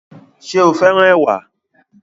Ṣé o féràn ẹwà